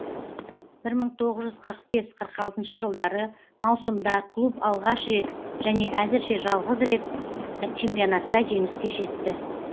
бір мың тоғыз жүз қырық бес қырық алтыншы жылдары маусымда клуб алғаш рет және әзірше жалғыз рет чемпионатта жеңіске жетті